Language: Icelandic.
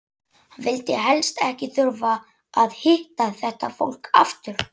Hann vildi helst ekki þurfa að hitta þetta fólk aftur!